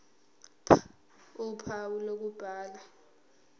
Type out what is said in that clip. ph uphawu lokubhala